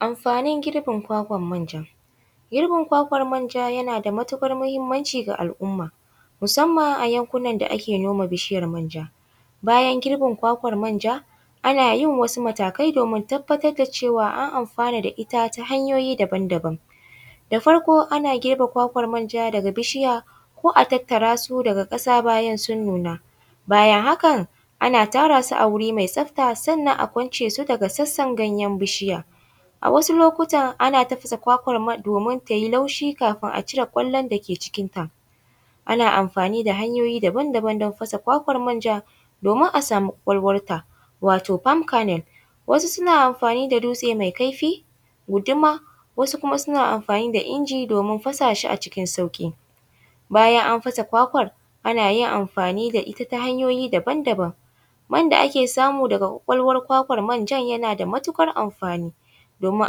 Amfanin girbin kwakwan manja, girbin kwakwan manja yana da matukar muhimmanci ga al’umma musamman a yankunan da ake noma bishiyar manja, bayan girben kwakwan manja ana yin wasu matakai domin tabbatar da cewa an amfana da ita ta hanyoyi daban-daban, da farko ana girba kwakwan manja daga bishiya ko a tattara su daga kasa bayan sun nuna bayan haka ana tara su a wuri mai tsafta sannan a kwance su daga sassan ganyaen bishiyan, a wasu lokutan ana tafasa kwakwan domin tayi laushi kafin a cire gwalan da ke cikinta, ana amfani da hanyoyi daban-daban don fasa kwakwan manja domin a samu kwakwalwanta wato parm canel, wasu suna amfani da dutse mai kaifi, guduma wasu kuma suna amfani da inji domin fasa shi a cikin sauki, bayan an fasa kwakwar ana yin amfani da ita ta hanyoyi daban-daban man da ake samu daga kwakwalwar kwakwan manjan yana da matukar amfani domin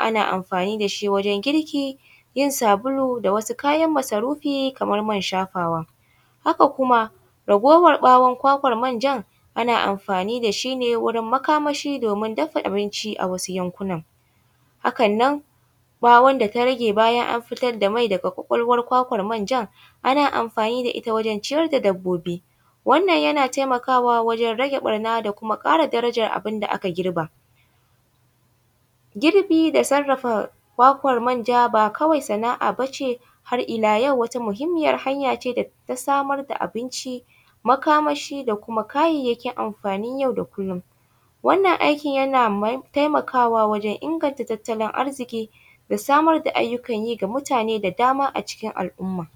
ana amfani da shi wajen kirki, yin sabulu da wasu kayan masarufi kamar man shafawa haka kuma raguwar kwakwan manjan ana amfani da shi ne wurin makamashi dafa abinci a wasu yankunan, hakan nan ɓawon da ta rage bayan an fitar da mai daga kwakwalwar kwakwar manjan ana amfani da ita wajen ciyar da dabbobi, wannan yana taimakawa wajen rage barna da kuma kara darajar abin da aka girba, girbi da sarafa kwakwan manja ba kawai sana’a bace har ila yau wata muhimmiyar hanya ce da ta samar da abinci, makamashi da kuma kayayyakin amfanin yau da kullum, wannan aikin yana taimakawa wajen inganta tattalin arziki da samar ga ayyukan yi ga mutane da dama a cikin al’umma.